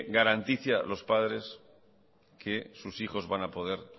garantice a los padres que sus hijos van a poder